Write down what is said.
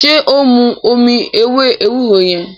ṣe o n mú omí ewé ewúro yen?